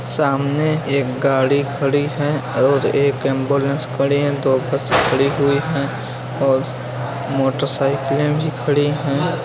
सामने एक गाड़ी खड़ी है और एक एम्बुलेंस खड़ी है | दो बसें खड़ी हुईं हैं और मोटरसाइकिलें भी खड़ी हैं ।